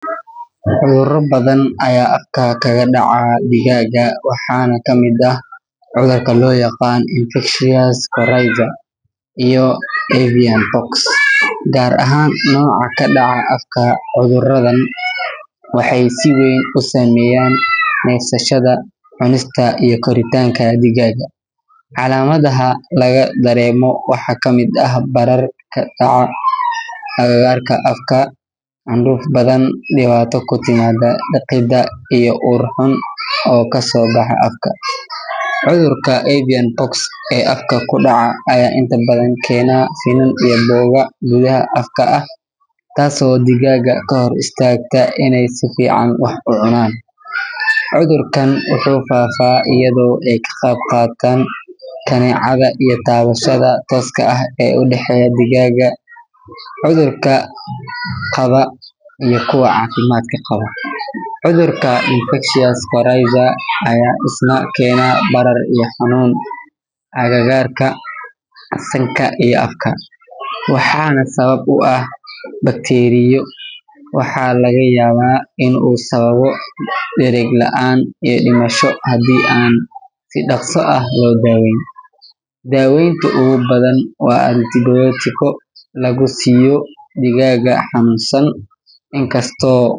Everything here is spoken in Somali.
Cudurro badan ayaa afka kaga dhaca digaagga, waxaana kamid ah cudurka loo yaqaan infectious coryza iyo avian pox, gaar ahaan nooca ka dhaca afka. Cudurradan waxay si weyn u saameeyaan neefsashada, cunista iyo koritaanka digaagga. Calaamadaha laga dareemo waxaa ka mid ah barar ka dhaca agagaarka afka, candhuuf badan, dhibaato ku timaada liqidda, iyo ur xun oo kasoo baxa afka. Cudurka avian pox ee afka ku dhaca, ayaa inta badan keena finan iyo boogo gudaha afka ah, taasoo digaagga ka hor istaagta inay si fiican wax u cunaan. Cudurkan wuxuu faafaa iyadoo ay ka qayb qaataan kaneecada iyo taabashada tooska ah ee u dhexeysa digaagga cudurka qaba iyo kuwa caafimaadka qaba. Cudurka infectious coryza ayaa isna keena barar iyo xanuun agagaarka sanka iyo afka, waxaana sabab u ah bakteeriyo. Waxaa laga yaabaa in uu sababo dhereg la’aan iyo dhimasho haddii aan si dhaqso ah loo daaweyn. Daaweynta ugu badan waa antibiyootiko lagu siiyo digaagga xanuunsan, inkastoo.